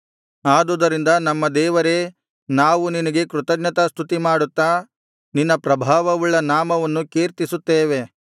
ಆದುದರಿಂದ ನಮ್ಮ ದೇವರೇ ನಾವು ನಿನಗೆ ಕೃತಜ್ಞತಾಸ್ತುತಿಮಾಡುತ್ತಾ ನಿನ್ನ ಪ್ರಭಾವವುಳ್ಳ ನಾಮವನ್ನು ಕೀರ್ತಿಸುತ್ತೇವೆ